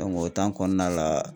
Dɔnku o tan kɔnɔna la